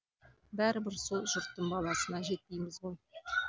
бәрібір сол жұрттың баласына жетпейміз ғой